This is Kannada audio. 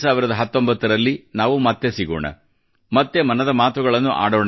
2019 ರಲ್ಲಿ ನಾವು ಮತ್ತೆ ಸಿಗೋಣ ಮತ್ತೆ ಮನದ ಮಾತುಗಳನ್ನು ಆಡೋಣ